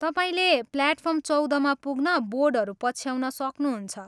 तपाईँले प्लेटफार्म चौधमा पुग्न बोर्डहरू पछ्याउन सक्नुहुन्छ।